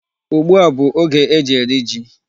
Ugbu a bụ oge e ji eri ji.